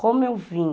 Como eu vim...